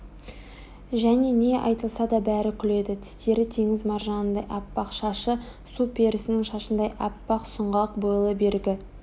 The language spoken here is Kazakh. және не айтылса да бәрі күледі тістері теңіз маржанындай аппақ шашы су перісінің шашындай аппақ сұңғақ бойлы бергі